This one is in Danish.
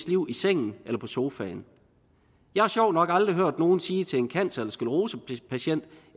liv i sengen eller på sofaen jeg har sjovt nok aldrig hørt nogen sige til en cancer eller sclerosepatient